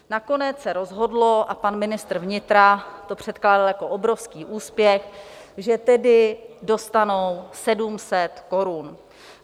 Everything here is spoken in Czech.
Nakonec se rozhodlo, a pan ministr vnitra to předkládal jako obrovský úspěch, že tedy dostanou 700 korun.